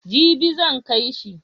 Jibi zan kai shi.